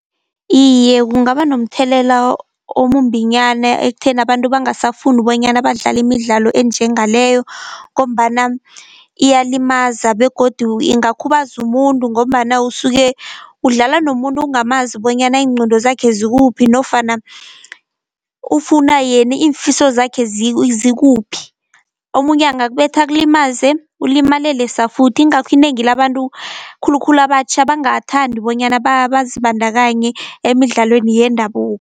Iye kungaba nomthelela omumbinyana ekutheni abantu bangasafuni bonyana badlale imidlalo enjengaleyo, ngombana iyalimaza begodu ingakhubaza umuntu, ngombana usuke udlala nomuntu ungamazi bonyana iingqondo zakhe zikuphi, nofana ufuna yena iimfiso zakhe zikuphi. Omunye angakubetha akulimaze ulimalele safuthi, ingakho inengi labantu khulukhulu abatjha bangathandi bonyana bazibandakanye emidlalweni yendabuko.